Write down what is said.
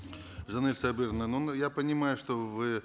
жанель сабыровна ну мы я понимаю что вы